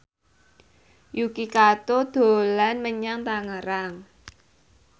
Yuki Kato dolan menyang Tangerang